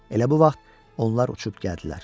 Elə bu vaxt onlar uçub gəldilər.